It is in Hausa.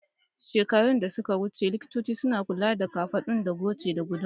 Shekaru da suka wuce, likitoci suna kula da kafaɗu da goce da guduma